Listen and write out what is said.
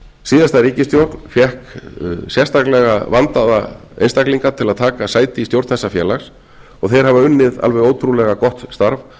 síðasta ríkisstjórn fékk sérstaklega vandaða einstaklinga til að taka sæti í stjórn þessa félags og þeir hafa unnið alveg ótrúlega gott starf